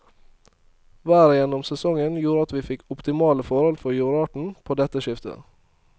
Været gjennom sesongen gjorde at vi fikk optimale forhold for jordarten på dette skiftet.